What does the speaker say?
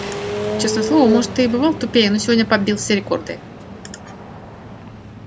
честное слово может ты и бывал тупее но сегодня побил все рекорды